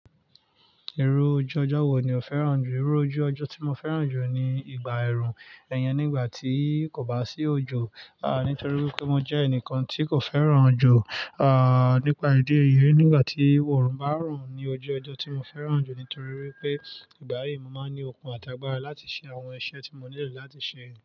Irú ojú ọjọ́ wo ni o fẹ́ràn jù? Irú ojú ọjọ́ tí mo fẹ́ràn jù ni ìgbà ẹ̀rùn iyẹn nígbà tí kò bá sí òjò, à nítorí pé mo jẹ́ ẹnìkan tí kò fẹ́ràn òjò, à nípa ìdí èyí nígbà tí òrùn bá orun ba ran ní ojú ọjọ́ tí mo fẹ́ràn jù nítorí pé ìgbà yìí mo máa ń ní okun àtàgbàra láti ṣe àwọn iṣẹ́ tí mo nílò láti ṣe.